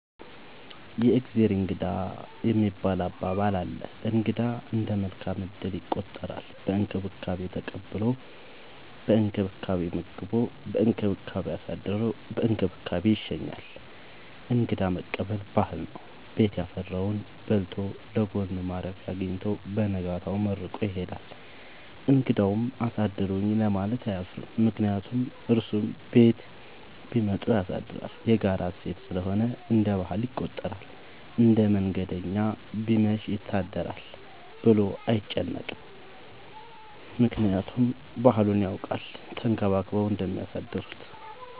የእግዜር እንግዳ የሚባል አባባል አለ። እንግዳ እንደ መልካም እድል ይቆጠራል። በእንክብካቤ ተቀብሎ በእንክብካቤ መግቦ በእንክብካቤ አሳድሮ በእንክብካቤ ይሸኛል። እንግዳ መቀበል ባህል ነው። ቤት ያፈራውን በልቶ ለጎኑ ማረፊያ አጊኝቶ በነጋታው መርቆ ይሄዳል። እንግዳውም አሳድሩኝ ለማለት አያፍርም ምክንያቱም እሱም ቤት ቢመጡ ያሳድራል። የጋራ እሴት ስለሆነ እንደ ባህል ይቆጠራል። አንድ መንገደኛ ቢመሽ ይት አድራለሁ ብሎ አይጨነቅም። ምክንያቱም ባህሉን ያውቃል ተንከባክበው እንደሚያሳድሩት።